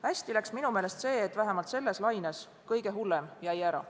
Hästi läks minu meelest see, et vähemalt selles laines jäi kõige hullem ära.